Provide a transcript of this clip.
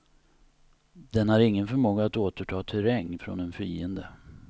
Den har ingen förmåga att återta terräng från en fiende.